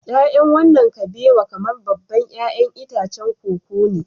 Ya'yan wannan kabewa kamar babban 'ya'yan itacen koko ne